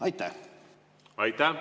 Aitäh!